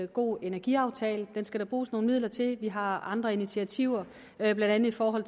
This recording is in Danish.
god energiaftale den skal der bruges nogle midler til vi har andre initiativer blandt andet i form af